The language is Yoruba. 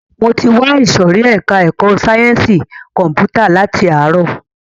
Mo ti wà ìsòrí ẹka ẹ̀kọ́ sáyẹnsì kọ̀mpútà láti ààrọ̀.